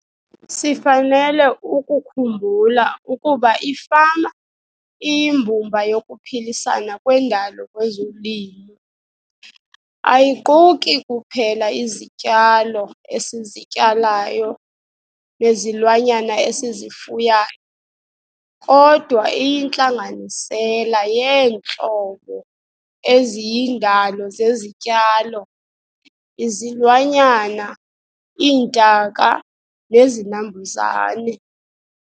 Sifanele ukukhumbula ukuba ifama iyimbumba yokuphilisana kwendalo kwezolimo. Ayiquki kuphela izityalo esizityalayo nezilwanyana esizifuyayo, kodwa iyintlanganisela yeentlobo eziyindalo zezityalo, izilwanyana, iintaka nezinambuzane.